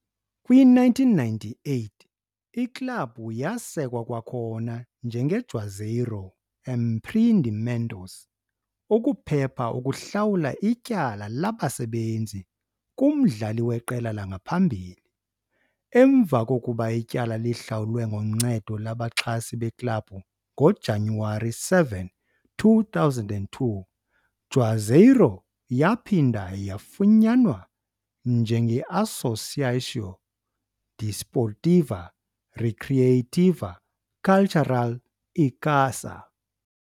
Kwi-1998, iklabhu yasekwa kwakhona njengeJuazeiro Empreendimentos ukuphepha ukuhlawula ityala labasebenzi kumdlali weqela langaphambili. Emva kokuba ityala lihlawulwe ngoncedo lwabaxhasi beklabhu, ngoJanuwari 7, 2002, Juazeiro yaphinda yafunyanwa njengeAssociação Desportiva Recreativa Cultural Icasa.